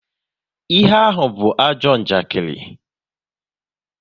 Ihe ahụ be ajọ njakiri